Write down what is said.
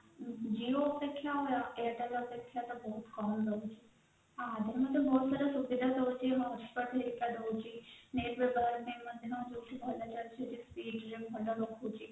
Jio ଅପେକ୍ଷ୍ୟା ଆମର airtel ଅପେକ୍ଷ୍ୟା ତ ଆମର ବହୁତ କମ ରହୁଛି Jio ରେ ବହୁତ ସାରା ସୁବିଧା ରହୁଛି